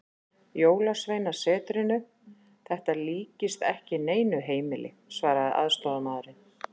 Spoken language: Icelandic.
Jólasveinasetrinu, þetta líkist ekki neinu heimili, svaraði aðstoðarmaðurinn.